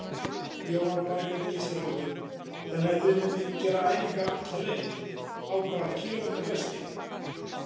Jóhanna Margrét Gísladóttir: Þannig að þið munuð gera æfingar alla leið, á hvað kílómetra fresti?